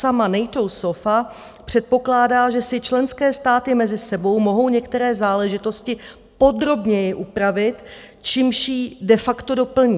Sama NATO SOFA předpokládá, že si členské státy mezi sebou mohou některé záležitosti podrobněji upravit, čímž ji de facto doplní.